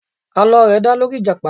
Àlọ́ rẹ̀ dá lórí ìjàpá.